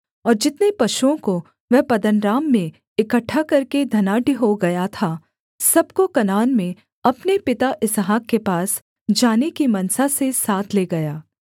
और जितने पशुओं को वह पद्दनराम में इकट्ठा करके धनाढ्य हो गया था सब को कनान में अपने पिता इसहाक के पास जाने की मनसा से साथ ले गया